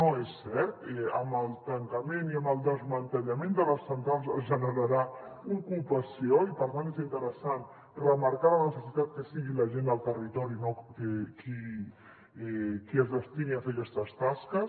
no és cert amb el tancament i amb el desmantellament de les centrals es generarà ocupació i per tant és interessant remarcar la necessitat que sigui la gent del territori qui es destini a fer aquestes tasques